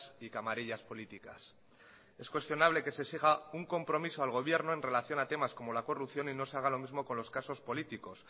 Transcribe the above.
y camarillas políticas es cuestionable que se exija un compromiso al gobierno en relación a temas como la corrupción y no se haga lo mismo con los casos políticos